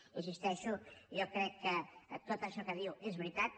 hi insisteixo jo crec que tot això que diu és veritat